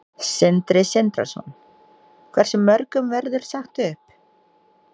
Sindri Sindrason: Hversu mörgum verður sagt upp?